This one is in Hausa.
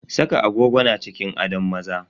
Saka agogo na cikin adon maza.